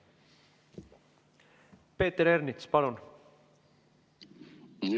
Peeter Ernits, palun!